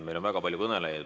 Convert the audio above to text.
Meil on väga palju kõnelejaid.